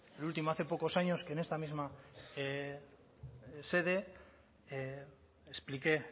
el último hace pocos años que en esta misma sede expliqué